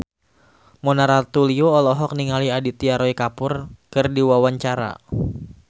Mona Ratuliu olohok ningali Aditya Roy Kapoor keur diwawancara